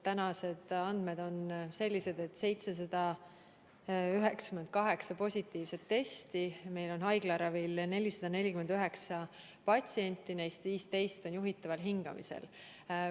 Tänased andmed on sellised, et tehti 798 positiivset testi ja meil on haiglaravil 449 patsienti, neist 15 on juhitaval hingamisel.